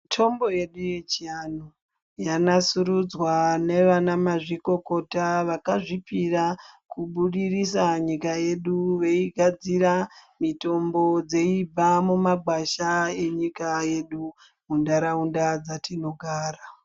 Mitombo yedu yechiantu yanasurudzwa navanamazvikokota vakazvipira kubudirisa nyika yedu veigadzira mitombo dzeibva mumagwasha enyika yedu munharaunda dzatinogara.